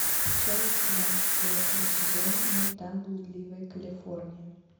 часть два четвертого сезона мульта блудливая калифорния